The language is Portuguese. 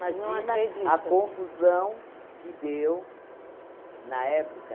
a confusão que deu na época.